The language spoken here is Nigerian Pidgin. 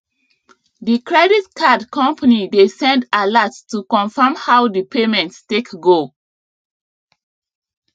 the credit card company dey send alert to confirm how the payment take go